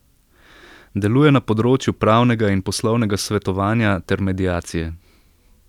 Deluje na področju pravnega in poslovnega svetovanja ter mediacije.